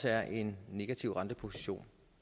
er en negativ renteposition